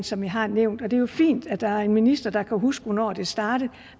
som jeg har nævnt og det er jo fint at der er en minister der kan huske hvornår det startede